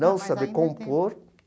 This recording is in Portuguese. Não saber compor.